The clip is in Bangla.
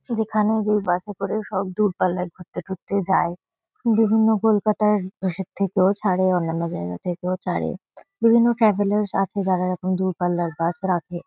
যেখানে যেই বাস -এ করে সব দূরপাল্লায় ঘুরতে ঠুরতে যায়। বিভিন্ন কলকাতার ইসের থেকেও ছারে অন্যান্য জায়গা থেকেও ছারে। বিভিন্ন ট্রাভেলার্স আছে যারা এরকম দূরপাল্লার বাস রাখে ।